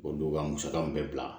O don ka musaka mun bɛ bila